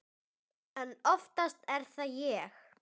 En oftast er það ég.